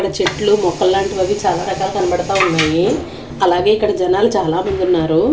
ఈడ చెట్లు మొక్కలాంటివవీ చాలా రకాలు కనబడతా ఉన్నాయి అలాగే ఇక్కడ జనాలు చాలామందున్నారు.